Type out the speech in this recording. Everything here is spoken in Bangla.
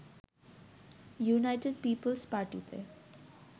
ইউনাইটেড পিপলস পার্টিতে